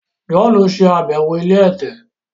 John ṣe àbẹwò ilé ẹ̀tẹ̀.